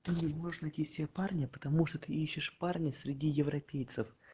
не можешь найти себе парня потому что ты ищешь парня среди европейцев